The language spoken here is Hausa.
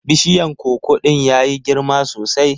Bishiyan koko ɗin ya yi girma sosai.